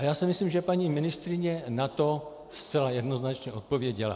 A já si myslím, že paní ministryně na to zcela jednoznačně odpověděla.